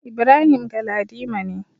Ibrahim Galadima ne.